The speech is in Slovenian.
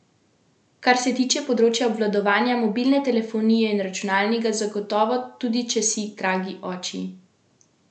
Kar se tiče področja obvladovanja mobilne telefonije in računalnika, zagotovo, tudi če si, dragi oči, dvakratni doktor računalništva.